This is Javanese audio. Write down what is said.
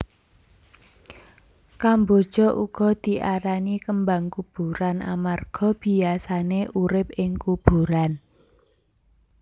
Kamboja uga diarani kembang kuburan amarga biyasané urip ing kuburan